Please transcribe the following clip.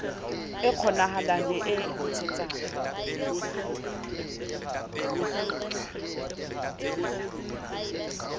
e kgonahalang le e ntshetsang